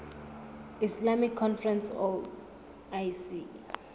islamic conference oic